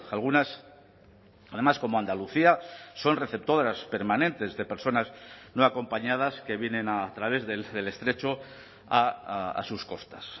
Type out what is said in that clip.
algunas además como andalucía son receptoras permanentes de personas no acompañadas que vienen a través del estrecho a sus costas